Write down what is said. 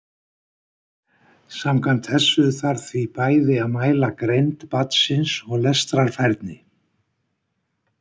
Samkvæmt þessu þarf því bæði að mæla greind barnsins og lestrarfærni.